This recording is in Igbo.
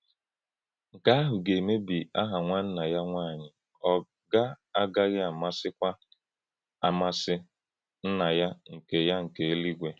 Nké ahụ̀ gà-emèbì àhà nwánnà ya nwànyì; ọ̀ gà-agághìkwa àmàsì Nnà yá nke yá nke Éluígwè.